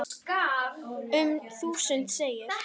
Um þúsund segir